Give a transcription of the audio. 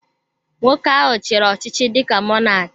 Nwoke ahụ chiri ọchịchị dịka Mọnak